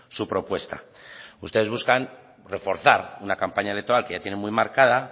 su propuesta ustedes buscan reforzar una campaña electoral que ya tienen muy marcada